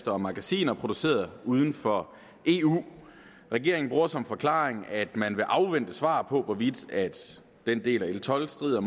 og magasiner produceret uden for eu regeringen bruger som forklaring at man vil afvente svar på hvorvidt den del af l tolv strider